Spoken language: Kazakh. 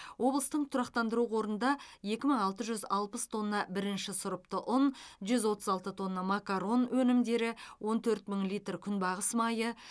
облыстың тұрақтандыру қорында екі мың алты жүз алпыс тонна бірінші сұрыпты ұн жүз отыз алты тонна макарон өнімдері он төрт мың литр күнбағыс майы